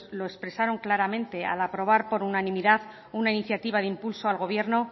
lo expresaron claramente al aprobar por unanimidad una iniciativa de impulso al gobierno